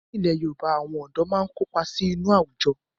Ní ilẹ̀ Yorùbá, àwọn ọ̀dọ́ máa ń kópa sí inú àwùjọ